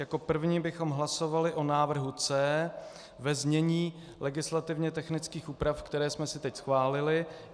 Jako první bychom hlasovali o návrhu C ve znění legislativně technických úprav, které jsme si teď schválili.